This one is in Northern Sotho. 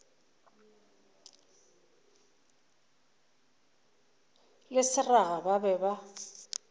le seraga ba be ba